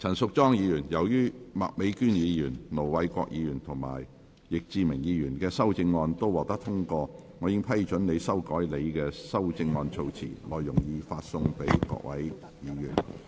陳淑莊議員，由於麥美娟議員、盧偉國議員及易志明議員的修正案獲得通過，我已批准你修改你的修正案措辭，內容已發送各位議員。